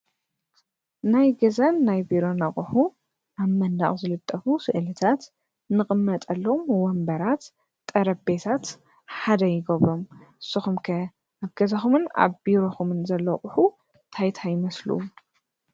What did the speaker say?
ናይ ገዛን ናይ ቢሮን ኣቑሑ ኣብ መንደቕ ዝልጠፉ ስእልታት ልቕመጠሉ ወንበራት ጠረጴዛት ሓደ ይገብሮ፡፡ ንስኹም ከ ኣብ ገዛኹም ቢሮኹምን ዘለዉ ኣቑሑ እንታይ እንታይ ይመስሉ?